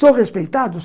Sou respeitado?